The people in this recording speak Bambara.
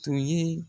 Tun ye